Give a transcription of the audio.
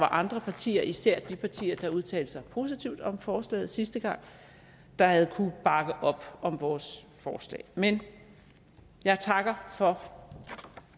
andre partier især de partier der udtalte sig positivt om forslaget sidste gang havde kunnet bakke op om vores forslag men jeg takker for